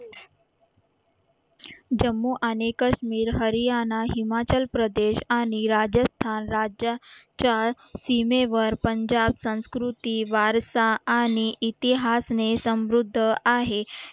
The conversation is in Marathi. जम्मू आणि काश्मीर हरियाणा हिमाचल प्रदेश आणि राजस्थान राज्यांच्या सीमेवर पंजाब संस्कृती वारसा आणि इतिहासने समृद्ध आहे